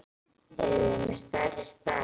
Eruð þið með stærri stærð?